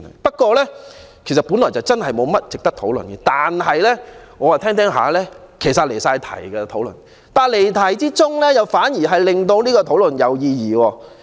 本來議案的確沒有甚麼值得討論，但我越聽越覺得離題，而離題又反而令這項辯論有意義。